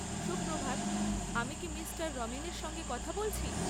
সুপ্রভাত, আমি কি মিস্টার রমন এর সঙ্গে কথা বলছি?